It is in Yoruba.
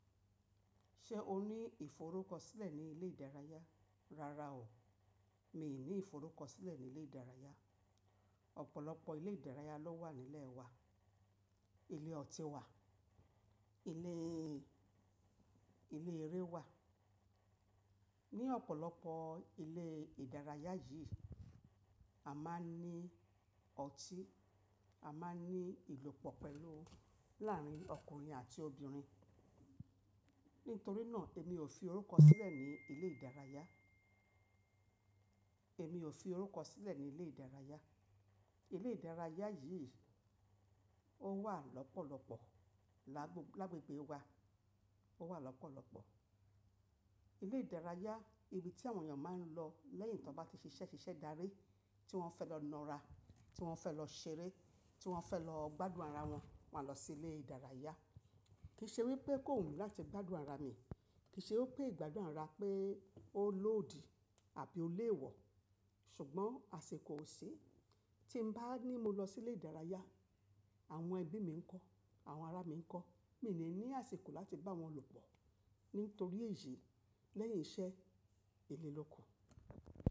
Ṣé o ní ìforúkọ sílẹ̀ ní ilé ìdárayá? Rárá o, mii ní ìforúkọ sílẹ̀ ní ilé ìdárayá. Ọ̀pọ̀lọpọ̀ ilé ìdárayá ló wà nílẹ̀ wa. Ilé ọtí wà, ilé eré wà. Ni ọ̀pọ̀lọpọ̀ ilé ìdárayá yìí, a máa n ní ọtí, a máa ní ìlòpọ̀ pẹ̀lú láàárín ọkùnrin àti obìnrin. Nítorí náà, èmi ò fi orúkọ sílẹ̀ ní ilé ìdárayá. Èmi ò fi orúkọ sílẹ̀ ní ilé ìdárayá. Ilé ìdárayá yìí ó wà lọ́pọ̀lọ́pọ̀ lágbogbo lágbègbè wa, ó wà lọ́pọ̀lọ́pọ̀. Ilé ìdárayá ni ibi tí àwọn èèyàn máa ń lọ lẹ́yìn tí wọ́n bá ti ṣiṣẹ́ darí, tí wọ́n fẹ́ lọ na'ra, tí wọ́n fẹ́ lọ ṣeré, tí wọ́n fẹ́ lọ gbádùn ara wọn, wọ́n á lọ sí ilé ìdárayá. Kì í ṣe wípé kó wumí láti gbádùn ara mi, kì í ṣe wipé ìgbádùn ara pé ó lòdì àbí ó léèwọ̀. Ṣùgbọ́n, àsìkò ò sí, tí n bá ní mo lọ sí ilé ìdárayá, àwọn ẹbí mi ńkọ́, àwọn ará mi ńkọ́. Míi ní ní àsìkò láti bá wọn lòpọ̀ nítorí èyí lẹ́yìn iṣẹ́ ìlé lo kan.